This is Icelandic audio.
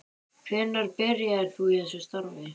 Hvenær byrjaðir þú í þessu starfi?